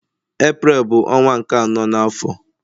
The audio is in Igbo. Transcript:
Eprel bu onwa nke ano na afo.